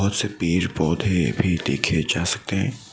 कुछ पेड़ पौधे भी देखे जा सकते हैं।